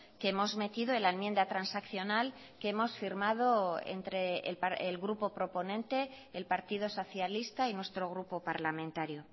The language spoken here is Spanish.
que hemos metido en la enmienda transaccional que hemos firmado entre el grupo proponente el partido socialista y nuestro grupo parlamentario